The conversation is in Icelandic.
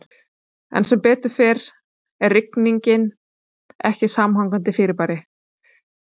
En sem betur fer er rigning ekki samhangandi fyrirbæri.